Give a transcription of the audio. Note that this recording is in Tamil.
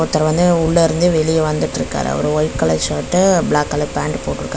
ஒருத்தரு வந்து உள்ள இருந்து வெளிய வந்துட்ருக்காரு அவரு white colour shirt black colour pant போட்டுருக்காரே.